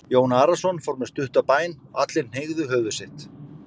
Jón Arason fór með stutta bæn og allir hneigðu höfuð sitt.